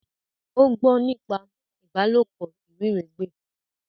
O gbọ nípa ìbálòpọ̀ iwiregbe